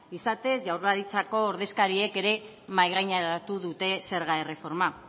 izatez jaurlaritzako ordezkariek ere mahaigaineratu dute zerga erreforma